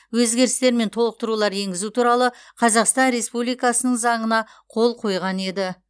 өзгерістер мен толықтырулар енгізу туралы қазақстан республикасының заңына қол қойған еді